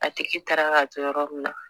A tiki taara k'a to yɔrɔ min na